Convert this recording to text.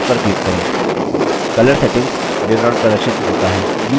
color settings विवरण प्रदर्शित होता है